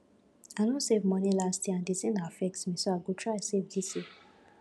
i no save money last year and the thing affect me so i go try save dis year